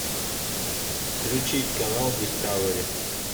включить канал дискавери